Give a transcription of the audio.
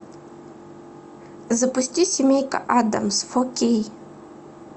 запусти семейка адамс фо кей